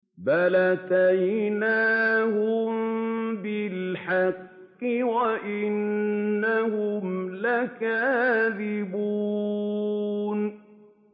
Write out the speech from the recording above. بَلْ أَتَيْنَاهُم بِالْحَقِّ وَإِنَّهُمْ لَكَاذِبُونَ